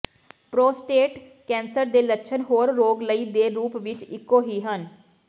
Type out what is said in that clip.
prostate ਕਸਰ ਦੇ ਲੱਛਣ ਹੋਰ ਰੋਗ ਲਈ ਦੇ ਰੂਪ ਵਿੱਚ ਇੱਕੋ ਹੀ ਹਨ